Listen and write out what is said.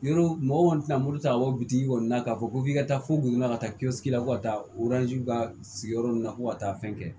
Yɔrɔ mɔgɔ kɔni tɛna muru ta ka bɔ bi kɔni na k'a fɔ ko f'i ka taa fo bo la ka taa la ko ka taa ka sigiyɔrɔ nunnu na fo ka taa fɛn kɛ